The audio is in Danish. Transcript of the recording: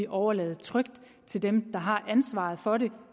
overlade til dem der har ansvaret for det